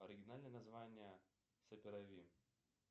оригинальное название саперави